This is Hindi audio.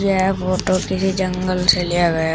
यह फोटो किसी जंगल से लिया गया--